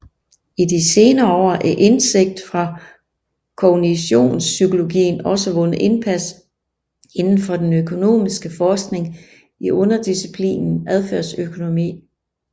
I de senere år har indsigt fra kognitionspsykologien også vundet indpas inden for den økonomiske forskning i underdisciplinen adfærdsøkonomi